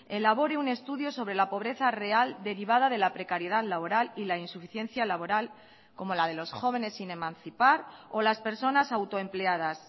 elabore un estudio sobre la pobreza real derivada de la precariedad laboral y la insuficiencia laboral como la de los jóvenes sin emancipar o las personas autoempleadas